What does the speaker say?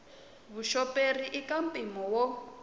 vuxoperi i ka mpimo wo